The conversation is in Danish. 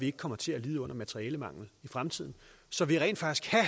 ikke kommer til at lide under materialemangel i fremtiden så der rent faktisk kan